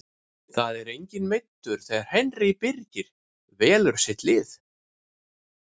Það er enginn meiddur þegar Henry Birgir velur sitt lið.